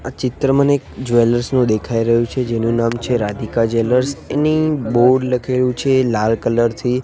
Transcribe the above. આ ચિત્ર મને એક જ્વેલર્સ નુ દેખાઈ રહ્યુ છે જેનુ નામ છે રાધિકા જ્વેલર્સ એની બોર્ડ લખેલુ છે લાલ કલર થી.